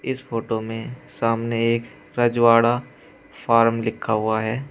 इस फोटो में सामने एक रजवाड़ा फार्म लिखा हुआ है।